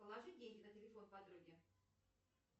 положи деньги на телефон подруге